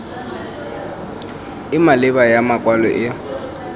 e maleba ya makwalo e